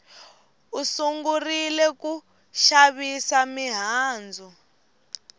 u sungurile ku xavisa mihandzu